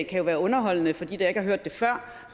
kan jo være underholdende for dem der ikke har hørt det før